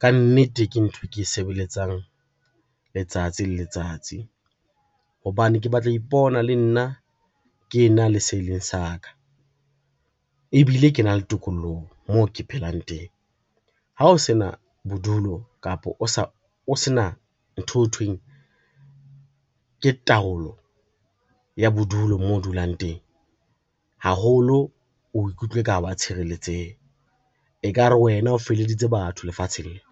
Ka nnete, ke ntho e ke e sebeletsang letsatsi le letsatsi, hobane ke batla ho ipona le nna ke ena le se e leng sa ka, ebile ke na le tokoloho moo ke phelang teng. Ha o sena bodulo kapa o se na ntho eo thweng ke taolo ya bodulo moo o dulang teng haholo, o ikutlwa e ka ha wa tshireletseha ekare wena o feleditse batho lefatsheng lena.